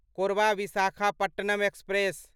Korba Visakhapatnam express